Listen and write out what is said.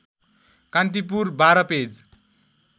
Kantipur १२ page